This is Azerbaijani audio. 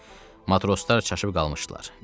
Matroslar çaşıb qalmışdılar.